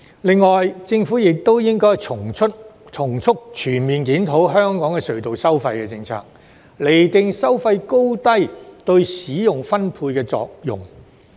另外，政府亦應該從速全面檢討香港的隧道收費政策，釐定收費高低對使用分配的作用。